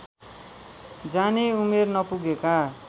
जाने उमेर नपुगेका